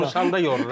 Danışanda yorur.